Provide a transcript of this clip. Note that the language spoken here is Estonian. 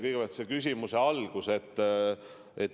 Kõigepealt sellest, mis küsimuse alguses kõlas.